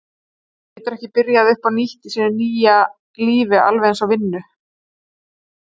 Hún getur ekki byrjað upp á nýtt í sínu nýja lífi í alveg eins vinnu.